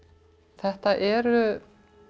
þetta eru